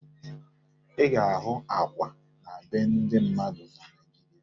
Ị ga-ahụ akwa na be ndị mmadụ na Naịjiria